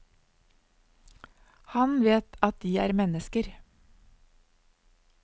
Han vet at de er mennesker.